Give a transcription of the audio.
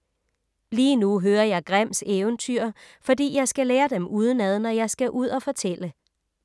Lige nu hører jeg Grimms eventyr, fordi jeg skal lære dem udenad, når jeg skal ud og fortælle.